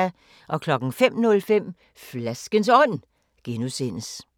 05:05: Flaskens Ånd (G)